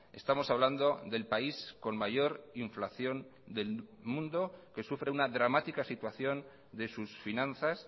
estamos hablando del país con mayor inflación del mundo que sufre una dramática situación de sus finanzas